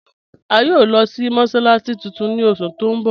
A yòò lọ sí mọ́sálàssí tuntun ni oṣù tó n bọ̀.